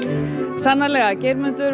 sannarlega Geirmundur